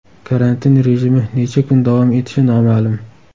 Karantin rejimi necha kun davom etishi noma’lum.